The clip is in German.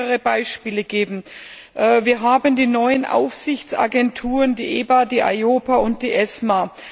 Ich will mehrere Beispiele anführen Wir haben die neuen Aufsichtsagenturen, die EBA, die EIOPA und die ESMA.